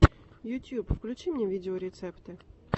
ютюб включи мне видеорецепты